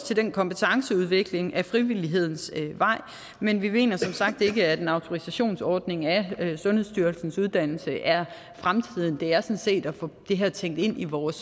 til den kompetenceudvikling ad frivillighedens vej men vi mener som sagt ikke at en autorisationsordning af sundhedsstyrelsens uddannelse er fremtiden det er sådan set at få det her tænkt ind i vores